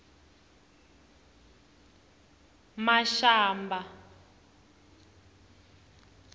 mashamba